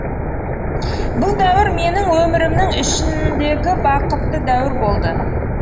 бұл дәуір менің өмірімнің ішіңдегі бақытты дәуір болды